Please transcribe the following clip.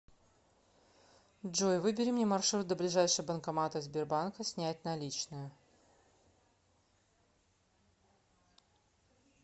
джой выбери мне маршрут до ближайшего банкомата сбербанка снять наличные